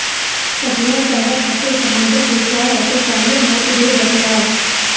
ਸੱਭਿਆਚਾਰਕ ਅਤੇ ਸਮਾਜਕ ਵਿਸ਼ਵਾਸ ਅਤੇ ਕਾਲੇ ਮੌਤ ਦੇ ਬਦਲਾਅ